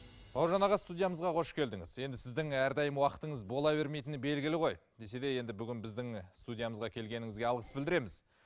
бауыржан аға студиямызға қош келдіңіз енді сіздің әрдайым уақытыңыз бола бермейтіні белгіл ғой десе де енді бүгін біздің студиямызға келгеніңізге алғыс білдіреміз